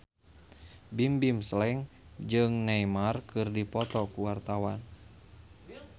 Bimbim Slank jeung Neymar keur dipoto ku wartawan